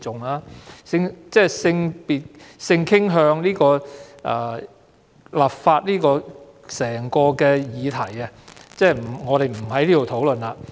有關就禁止性傾向歧視立法的議題，我不在此討論了。